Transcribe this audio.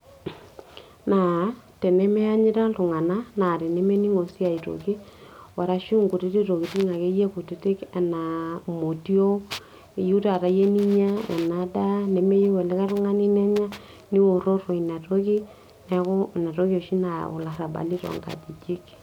Naa temeanyita ltunganak naa nemeningo si aitoki arashu nkutitik tokitin akeyie kutitik, anaa motiok iyiue taata iyie ninya ena daa, nemeyiu olikae tungani nenya niwororo inatoki neaku inatoki oshi nayau ilarabali tonkajijik.